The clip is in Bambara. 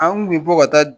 An kun bɛ bɔ ka taa